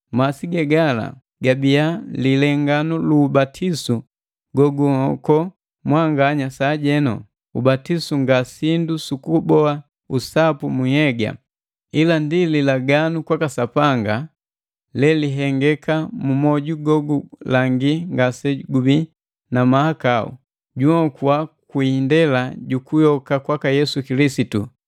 masi ge gala gabiya lilenganu lu ubatisu gogunhoko mwanganya sajenu. Ubatisu nga sindu sukuboa usapu mu nhnhyega, ila ndi lilaganu kwaka Sapanga lelihengeka mu moju gogulangi ngasegubii na mahakau. Junhokua kwi indela jukuyoka kwaka Yesu Kilisitu,